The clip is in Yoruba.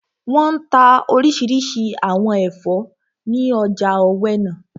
Wọ́n n ta orísirísi àwọn ẹ̀fọ́ ní ọjà ọ̀wẹnà